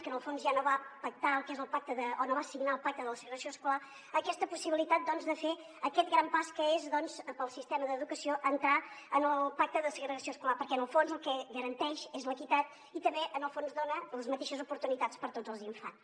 que en el fons ja no va signar el pacte de la segregació escolar aquesta possibilitat de fer aquest gran pas que és per al sistema d’educació entrar en el pacte de segregació escolar perquè en el fons el que garan·teix és l’equitat i també en el fons dona les mateixes oportunitats per a tots els in·fants